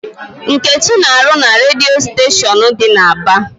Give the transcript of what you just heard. Nkechi na-arụ na redio station dị n'Aba.